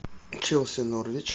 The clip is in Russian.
челси норвич